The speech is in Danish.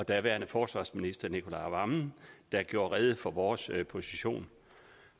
og daværende forsvarsminister nicolai wammen der gjorde rede for vores position